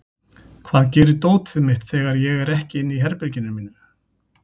Hvað gerir dótið mitt þegar ég er ekki inn í herberginu mínu?